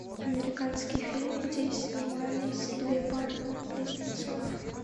американский фильм где снимались две пары близнецов